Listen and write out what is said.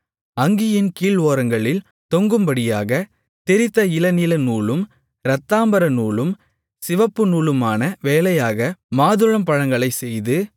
அங்கியின் கீழ்ஓரங்களில் தொங்கும்படியாகத் திரித்த இளநீலநூலும் இரத்தாம்பரநூலும் சிவப்புநூலுமான வேலையாக மாதுளம்பழங்களைச் செய்து